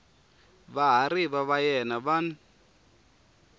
vahariva va yena va n